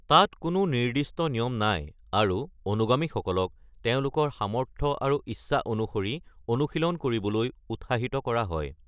তাত কোনো নিৰ্দিষ্ট নিয়ম নাই, আৰু অনুগামীসকলক তেওঁলোকৰ সামৰ্থ্য আৰু ইচ্ছা অনুসৰি অনুশীলন কৰিবলৈ উৎসাহিত কৰা হয়।